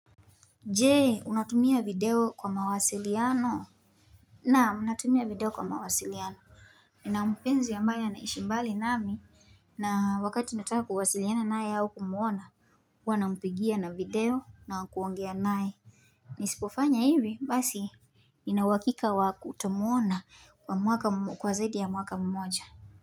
Je,? Unatumia video kwa mawasiliano,? Naam, natumia video kwa mawasiliano, nina mpenzi ambaye anaishi mbali nami, na wakati nataka kuwasiliana naye au kumwona huwa nampigia na video na kuongea naye nisipofanya hivi basi nina uhakika wa kutomuona kwa mwaka kwa zaidi ya mwaka mmoja.